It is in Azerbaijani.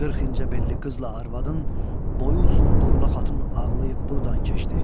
40 incəbelli qızla arvadın boyu uzun burla xatın ağlayıb buradan keçdi.